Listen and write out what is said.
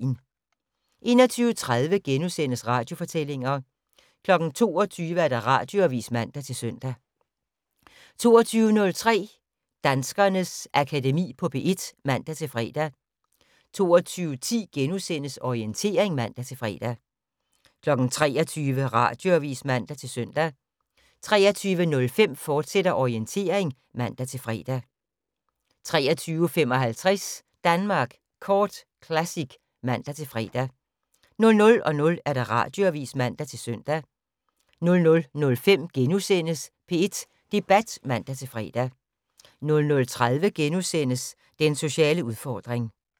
21:30: Radiofortællinger * 22:00: Radioavis (man-søn) 22:03: Danskernes Akademi på P1 (man-fre) 22:10: Orientering *(man-fre) 23:00: Radioavis (man-søn) 23:05: Orientering, fortsat (man-fre) 23:55: Danmark Kort Classic (man-fre) 00:00: Radioavis (man-søn) 00:05: P1 Debat *(man-fre) 00:30: Den sociale udfordring *